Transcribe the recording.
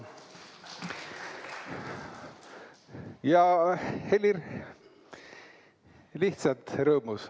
Ja Helir on lihtsalt rõõmus.